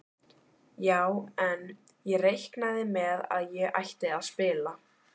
Já en. ég reiknaði með að ég ætti að spila!